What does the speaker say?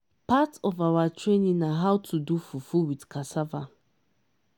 part of our training na how to do fufu with cassava.